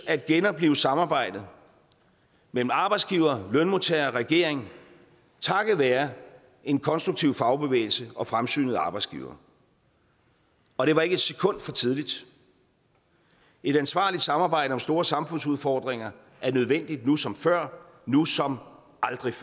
at genoplive samarbejdet mellem arbejdsgivere lønmodtagere og regeringen takket være en konstruktiv fagbevægelse og fremsynede arbejdsgivere og det var ikke et sekund for tidligt et ansvarligt samarbejde om store samfundsudfordringer er nødvendigt nu som før nu som